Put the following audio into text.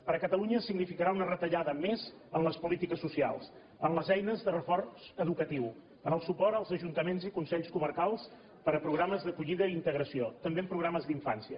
per a catalunya significarà una retallada més en les polítiques socials en les eines de reforç educatiu en el suport als ajuntaments i consells comarcals per a programes d’acollida i integració també en programes d’infància